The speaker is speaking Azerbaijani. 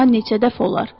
Daha neçə dəfə olar?